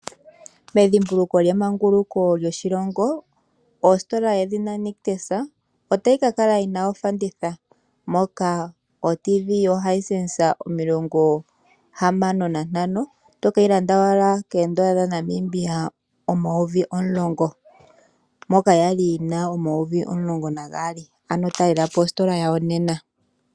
Medhimbuluko lyemanguluko lyoshilongo ositola yedhina Nictus otayi ka kala yina ofanditha. Moka oTV yoHisense65 tokeyi landa owala koodola dhaNamibia omayovi omulongo moka yali yina omayovi omulongo nagaali, ano talela po ositola yawo nena.